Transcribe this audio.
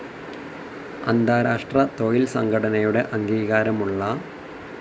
അന്താരാഷ്ട്ര തൊഴിൽ സംഘടനയുടെ അംഗീകാരമുള്ള